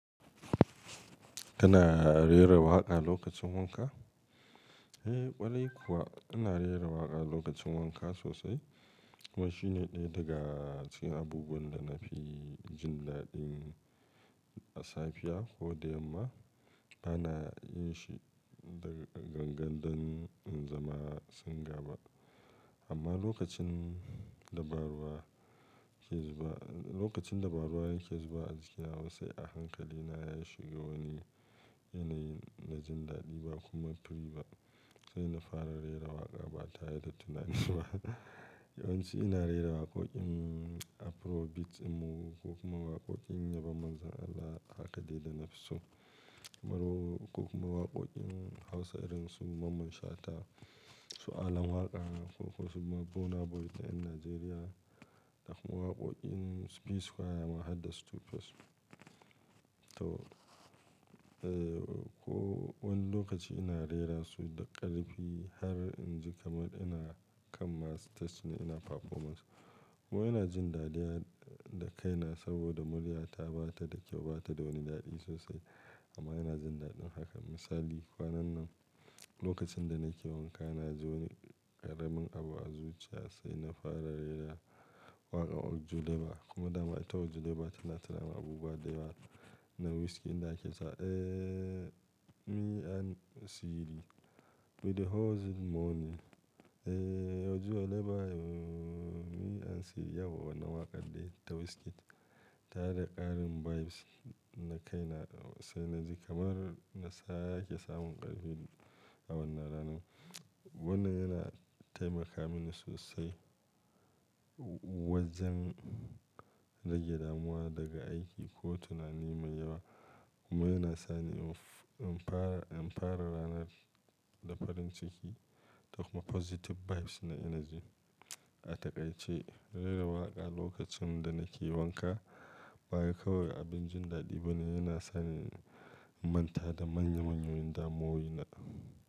Kana rera waƙa lokacin wanka? Eh ƙwarai kuwa, ina rera waƙa lokacin wanka sosai. Kuma shi ne ɗaya daga cikin abubuwan da na fi jin daɗi a safiya ko da yamma. Bana yin shi da gangan domin in zama singer ba. Amma lokacin da ba ruwa ke zuba, lokacin da ba ruwa yake zuba a jikina, sai a hankalina ya shigo wani yanayi na jin daɗi ba komai ba ne ba. Sai na fara rera waƙa ba tare da tunani ba. Yawanci ina rera waƙoƙin Afrobeat ne ko kuma waƙoƙin yabon Manzon Allah a haƙadai da nafi so. Afro ko kuma waƙoƙin Hausa irin su Mamman Shata, su Alan Waƙa ko kuma Burna Boy ta ƴan Najeriya da kuma waƙoƙin su P-Square ma har da 2face. To, eh ko wani lokaci ina rera su da ƙarfi har in ji kamar ina kan ma stage ne ina performance. Kuma ina jin dadi har da kai na saboda murya ta ba ta da kyau, ba ta da wani daɗi sosai amma ina jin daɗin haka. Misali, kwanan nan lokacin da nake wanka na ji wani ƙaramin abu a zuciya sai na fara rera waƙar Ojuelegba kuma dama ita Ojuelegba tana taron abubuwa da yawa na Wizkid da ake sa eh Me and Siri we dey hustle money. Eh Ojuelegba Me and Siri yawwa wannan waƙar ɗai ta Wizkid tana da ƙarin vibes ni da kai na sai na ji kamar na sake samun ƙarfi a wannan ranan. Wannan yana taimaka mini sosai wajen rage damuwa daga aiki ko tunani mai yawa. Kuma yana sani in fara, in fara ranar da farin ciki da kuma positive vibes na energy. A taƙaice, rera waƙa lokacin da nake wanka ba wai kawai abin jin daɗi bane, yana sani in manta da manya manyan damuwowi na.